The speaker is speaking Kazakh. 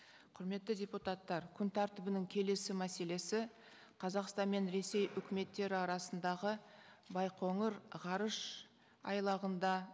құрметті депутаттар күн тәртібінің келесі мәселесі қазақстан мен ресей өкіметтері арасындағы байқоңыр ғарышайлағында